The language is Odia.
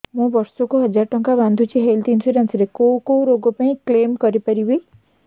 ମୁଁ ବର୍ଷ କୁ ହଜାର ଟଙ୍କା ବାନ୍ଧୁଛି ହେଲ୍ଥ ଇନ୍ସୁରାନ୍ସ ରେ କୋଉ କୋଉ ରୋଗ ପାଇଁ କ୍ଳେମ କରିପାରିବି